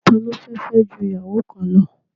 Ta ló fẹ́ fẹ́ ju ìyàwó kan lọ?.